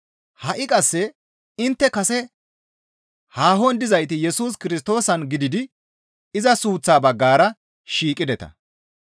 Ha7i qasse intte kase haahon dizayti Yesus Kirstoosan gididi iza suuththaa baggara shiiqideta.